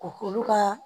Ko k'olu ka